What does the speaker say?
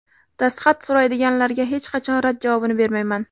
Dastxat so‘raydiganlarga hech qachon rad javobini bermayman.